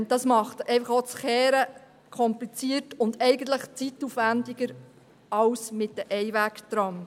Das Umkehren wird dadurch verkompliziert und zeitaufwändiger als mit Einwegtrams.